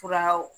Furaw